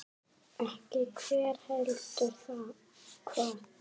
Ekki hver, heldur hvað.